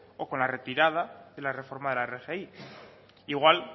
o con la retirada de la reforma de la rgi igual